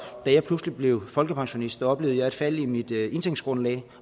da jeg pludselig blev folkepensionist oplevede jeg et fald i mit indtægtsgrundlag